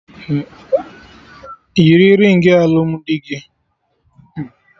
Yiri ringị alụmdi gị!